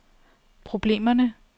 problemerne